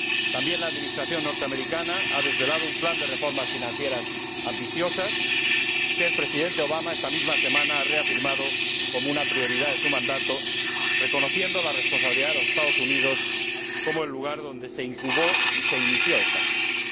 También la Administración norteamericana ha desvelado un plan de reformas financieras ambiciosas que el Presidente Obama, esta misma semana, ha reafirmado como una prioridad de su mandato, reconociendo la responsabilidad de los Estados Unidos como el lugar donde se incubó y se inició esta crisis.